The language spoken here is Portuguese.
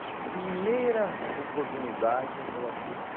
A primeira oportunidade eu coloco você.